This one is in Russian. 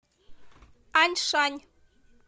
аньшань